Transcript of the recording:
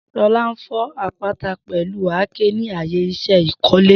Shola n fọ apata pẹlu àáké ni aaye iṣẹ ikole.